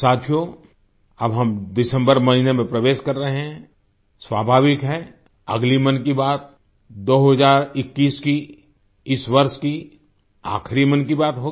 साथियो अब हम दिसम्बर महीने में प्रवेश कर रहे हैं स्वाभाविक है अगली मन की बात 2021 की इस वर्ष की आखिरी मन की बात होगी